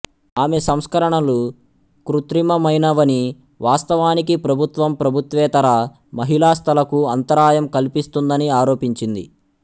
ఆమె సంస్కరణలు కృత్రిమమైనవని వాస్తవానికి ప్రభుత్వం ప్రభుత్వేతర మహిళాస్థలకు అంతరాయం కల్పిస్తుందని ఆరోపించింది